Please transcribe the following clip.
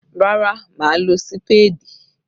Rárá mà á lo sípáádì.